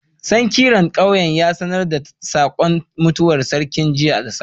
Sankiran ƙauyen ya sanar da saƙon mutuwar sarkin jiya da safe.